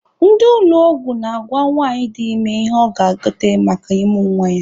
Ndị ụlọ ọgwụ na-agwa nwanyị dị ime ihe ọ ga-egote maka ịmụ nwa ya.